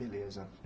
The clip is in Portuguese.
Beleza.